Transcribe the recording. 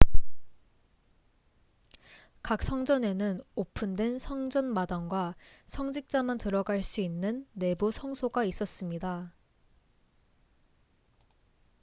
각 성전에는 오픈된 성전 마당과 성직자만 들어갈 수 있는 내부 성소가 있었습니다